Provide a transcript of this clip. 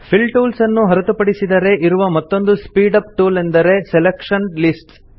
fill tools ನ್ನು ಹೊರತು ಪಡಿಸಿದರೆ ಇರುವ ಮತ್ತೊಂದು ಸ್ಪೀಡ್ ಅಪ್ ಟೂಲ್ ಎಂದರೆ ಸೆಲೆಕ್ಷನ್ ಲಿಸ್ಟ್ಸ್